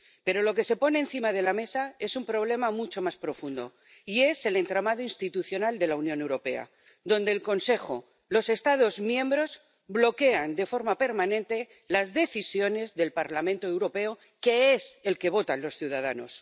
Pero lo que se pone encima de la mesa es un problema mucho más profundo, y es el entramado institucional de la Unión Europea, donde el Consejo —los Estados miembros— bloquea de forma permanente las decisiones del Parlamento Europeo, que es el que votan los ciudadanos.